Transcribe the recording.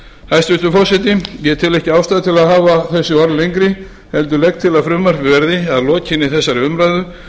hæstvirtur forseti ég tel ekki ástæðu til að hafa þessi orð lengri heldur legg til að frumvarpið verði að lokinni þessari umræðu